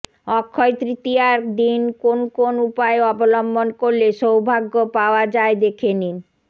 অক্ষয় তৃতীয়ার দিন কোন কোন উপায় অবলম্বন করলে সৌভাগ্য পাওয়া যায় দেখে নিন